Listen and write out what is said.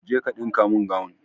Je ka dinka mun gawun!